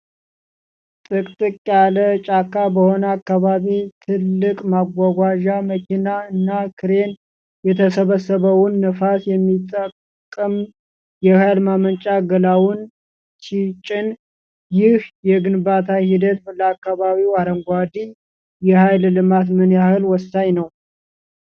ጥቅጥቅ ያለ ጫካ በሆነ አካባቢ፣ ትልቅ ማጓጓዣ መኪና እና ክሬን የተሰበሰበውን ነፋስ የሚጠቀም የኃይል ማመንጫ ገላውን ሲጭን፣ ይህ የግንባታ ሂደት ለአካባቢው አረንጓዴ የኃይል ልማት ምን ያህል ወሳኝ ነው?